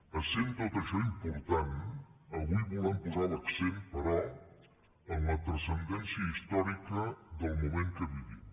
essent tot això important avui volem posar l’accent però en la transcendència històrica del moment que vivim